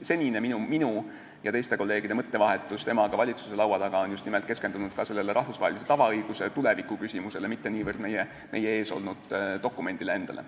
Senini on minu ja teiste kolleegide mõttevahetus temaga valitsuse laua taga keskendunud just nimelt sellele rahvusvahelise tavaõiguse tuleviku küsimusele, mitte niivõrd meie ees olnud dokumendile endale.